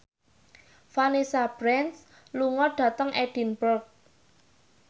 Vanessa Branch lunga dhateng Edinburgh